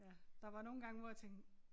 Ja der var nogle gange hvor jeg tænkte